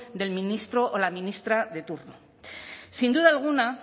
del ministro o la ministra de turno sin duda alguna